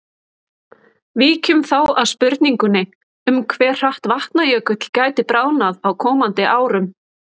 Víkjum þá að spurningunni um hve hratt Vatnajökull gæti bráðnað á komandi árum.